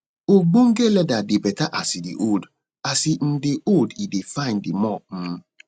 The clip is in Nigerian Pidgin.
ogbonge leather dey better as e dey old as e um dey old e dey fine di more um